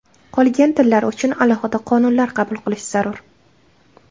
Qolgan tillar uchun alohida qonunlar qabul qilish zarur.